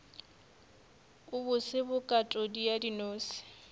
a bose bokatodi ya dinose